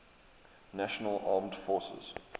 national armed forces